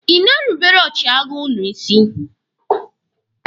Ị na-erubere ọchịagha ụnụ isi?